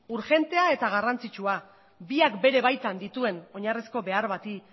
urgentea eta garrantzitsua biak bere baitan dituen oinarrizko behar bati